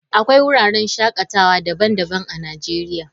Akwai wuraren shakatawa daban-daban a Najeriya.